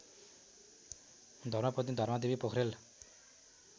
धर्मपत्नी धर्मादेवी पोखरेल